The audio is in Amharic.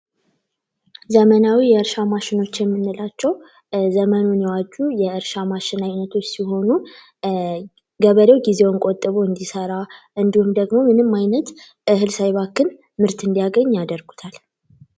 ዘመናዊ የእርሻ ማሸኖች የምንላቸው ዘመኑን የዋጀ የእርሻ ማሽን አይነቶች ሲሆኑ ገበሬው ጊዜውን ቆጥቦ እንዲሠራ እንዲሁም ደግሞ ምንም ዓይነትን እህል ሳባክን እንዲያገኝ ያደርጉታ ል።